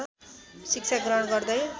शिक्षा ग्रहण गर्दै